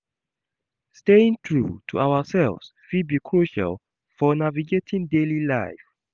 Staying true to ourselves fit be crucial for navigating daily life.